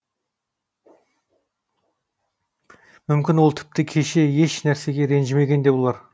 мүмкін ол тіпті кеше еш нәрсеге ренжімеген де болар